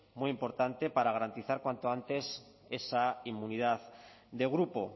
muy importante para garantizar cuanto antes esa inmunidad de grupo